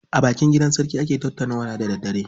A bakin gidan sarki ake tattaunawa da daddare.